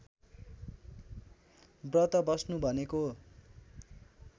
व्रत बस्नु भनेको